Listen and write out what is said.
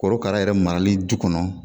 Korokara yɛrɛ marali du kɔnɔ